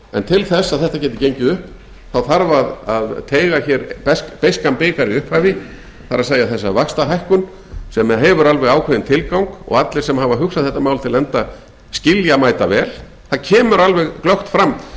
en til þess að þetta geti gengið upp þá þarf að teyga hér beiskan bikar í upphafi það er þessa vaxtahækkun sem hefur alveg ákveðinn tilgang og allir sem hafa hugsað þetta mál til enda skilja mætavel það kemur alveg glöggt fram